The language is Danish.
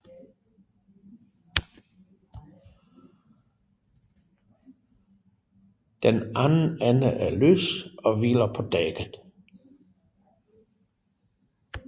Den anden ende er løs og hviler på dækket